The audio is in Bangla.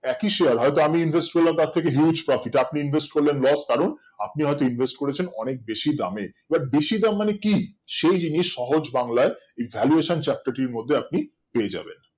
একই Share হয়তো আমি Invest করলাম তার থেকে Huge profit আপনি invest করলেন Loss কারণ আপনি হয়তো Invest করেছেন অনেক বাসি দামের But বেশি দাম মানে কি সেই জিনিস সহজ বাংলায় এই valuation Chapter টির মধ্যে আপনি পেয়ে যাবেন